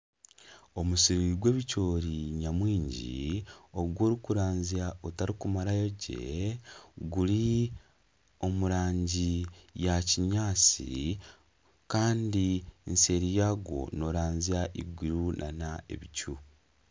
Omusiri gw'ebicoori nyamwingi ogu orikuranzya otarikugumarayo gye, guri omu rangi ya kinyaatsi kandi eseeri yaagwo nooranzya iguru nana ebicu